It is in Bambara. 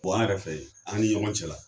an yɛrɛ fɛ yen, an ni ɲɔgɔn cɛla